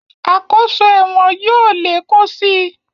Àkóso ẹ̀wọ̀n yóò lé kún si